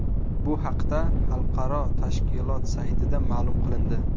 Bu haqda xalqaro tashkilot saytida ma’lum qilindi .